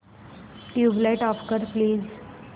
tubelight off कर please